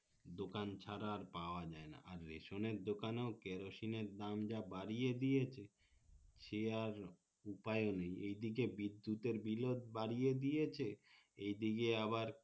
দোকান ছাড়া আর পাওয়া যাই না আর রেশনের দোকানে ও কেরোসিনএর দাম যা বাড়িয়ে দিয়েছে সে আর উপায় ও নেই এইদিকে বিদ্যুতের বিল ও বাড়িয়ে দিয়েছে এ দিকে আবার